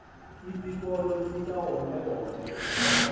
isikolo sikawonke wonke